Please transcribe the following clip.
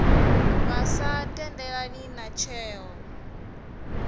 vha sa tendelani na tsheo